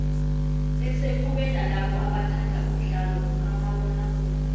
bese kube nalabo abathanda umdlalo kamabona kude